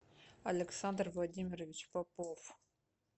александр владимирович попов